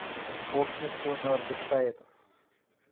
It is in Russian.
общество мертвых поэтов